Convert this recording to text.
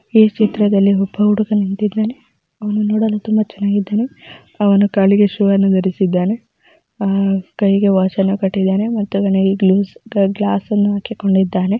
ಈ ಚಿತ್ರದಲ್ಲಿ ಹುಟ್ಟುವ ಹುಡುಗ ನಿಂತಿದ್ದಾನೆ ಅವನು ನೋಡಲು ತುಂಬ ಚೆನ್ನಾಗಿದ್ದಾನೆ ಅವನ ಕಾಲಿಗೆ ಸುವರ್ಣ ಧರಿಸಿದ್ದಾನೆ ಅಹ್ ಕೈಗೆ ವಾಚ್ ಅನ್ನ ಕಟ್ಟಿದ್ದಾನೆ ಮತ್ತು ಗ್ಲುಸ್ ಗ್ಲಾಸ್ಸನ್ನ ಹಾಕಿಕೊಂಡಿದ್ದಾನೆ.